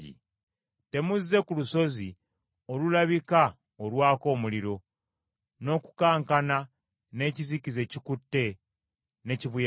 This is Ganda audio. Temuzze ku lusozi olulabika olwaka omuliro, n’okukankana n’ekizikiza ekikutte, ne kibuyaga,